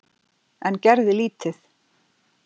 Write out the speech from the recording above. En gerði lítið.